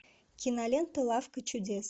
кинолента лавка чудес